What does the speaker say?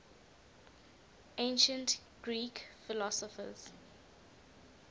ancient greek philosophers